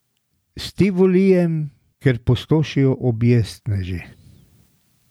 S Tivolijem, kjer pustošijo objestneži?